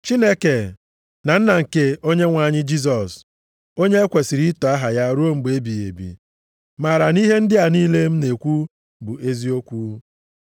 Chineke, na Nna nke Onyenwe anyị Jisọs, onye e kwesiri ito aha ya ruo mgbe ebighị ebi, maara na ihe ndị a niile m na-ekwu bụ eziokwu.